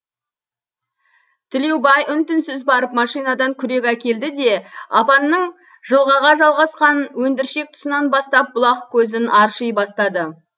тілеубай үн түнсіз барып машинадан күрек әкелді де апанның жылғаға жалғасқан өндіршек тұсынан бастап бұлақ көзін арши бастады